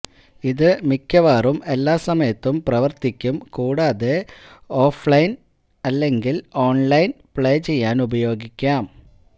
ഇത് മിക്കവാറും എല്ലാ സമയത്തും പ്രവർത്തിക്കും കൂടാതെ ഓഫ്ലൈൻ അല്ലെങ്കിൽ ഓൺലൈൻ പ്ലേ ചെയ്യാനുപയോഗിക്കാം